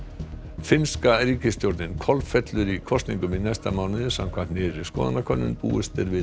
finnska ríkisstjórnin kolfellur í kosningum í næsta mánuði samkvæmt nýrri skoðanakönnun búist er við